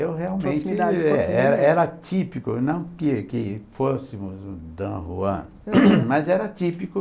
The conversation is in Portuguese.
Eu realmente é é era típico, não que que fôssemos um Don Juan, mas era típico